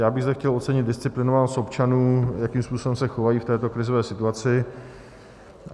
Já bych zde chtěl ocenit disciplinovanost občanů, jakým způsobem se chovají v této krizové situaci.